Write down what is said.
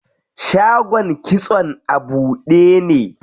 Shagon kitson a buɗe ne.